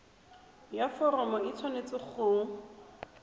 ya foromo e tshwanetse go